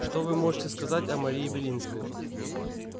что вы можете сказать о марии белинской